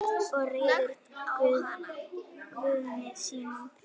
Og reiður Guði sínum.